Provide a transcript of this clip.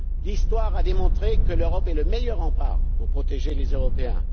L'histoire a démontré que l'Europe est le meilleur rempart pour protéger les Européens.